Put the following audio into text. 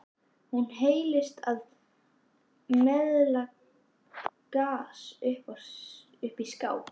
Hún seilist í meðalaglas uppi í skáp.